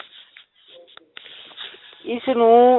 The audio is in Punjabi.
ਇਸਨੂੰ,